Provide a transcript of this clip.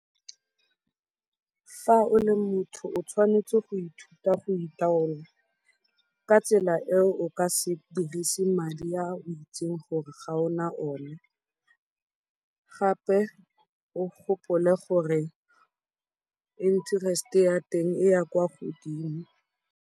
Fa o le motho o tshwanetse go ithuta go itaola ka tsela eo o ka se dirise madi a o itseng gore ga o na one, gape o gopole gore interest-e ya teng e ya kwa godimo.